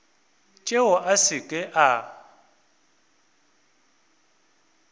tšeo a se ke a